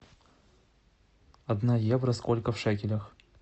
одна евро сколько в шекелях